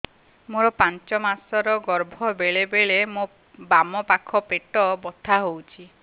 ମୋର ପାଞ୍ଚ ମାସ ର ଗର୍ଭ ବେଳେ ବେଳେ ମୋ ବାମ ପାଖ ପେଟ ବଥା ହଉଛି